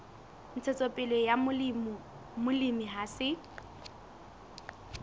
ntshetsopele ya molemi ha se